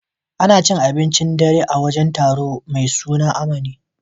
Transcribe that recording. Ana cin abincin dare a wajen taro mai suna Amani.